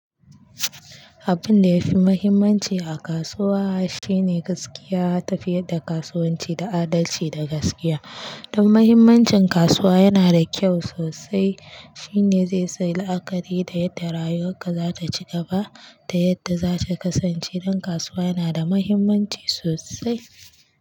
Abun da yafi muhimmanci a kasuwa shine gaskiya, tafiyar da kasuwanci da adalci da gaskiya. Don muhimmancin kasuwa yana da kyau sosai. Shine zai sa ayi la'akari da yadda rayuwarka zata cigaba da yadda zata kasance. Don kasuwa yana da muhimmanci sosai.